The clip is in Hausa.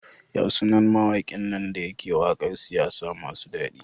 Yasu nan mawakin nan dayake waƙar siyasa masu dadi?